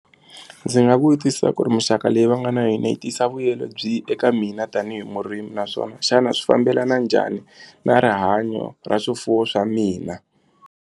Ndzi nga vutisa ku ri muxaka leyi va nga na yona yi tisa vuyelo byi eka mina tanihi murimi naswona xana swi fambelana njhani na rihanyo ra swifuwo swa mina.